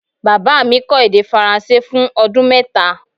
Baba mi kó̩ èdè faransé fun o̩dún mẹ́ta